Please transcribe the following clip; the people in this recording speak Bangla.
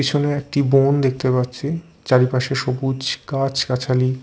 পিছনে একটি বোন দেখতে পাচ্ছি চারিপাশে সবুজ গাছালি।